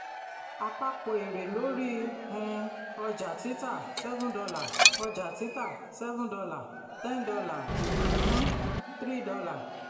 àpapọ èrè lóri um ọjà-títà: seven dollar ọjà-títà: seven dollar ten dollar um three dollar